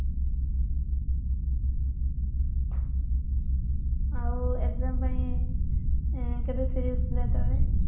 ଆଉ exam ପାଇଁ କେତେ serious ଥିଲ ସେତେବେଳେ